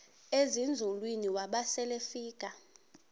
ezinzulwini waba selefika